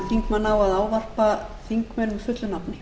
þingmann á að ávarpa þingmenn fullu nafni